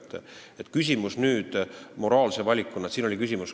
Nüüd küsimus moraalsest valikust.